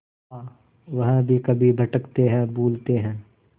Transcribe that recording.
हाँ वह भी कभी भटकते हैं भूलते हैं